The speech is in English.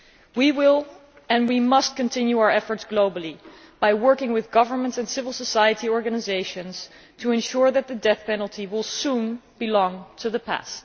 We will and we must continue our efforts globally by working with governments and civil society organisations to ensure that the death penalty will soon belong to the past.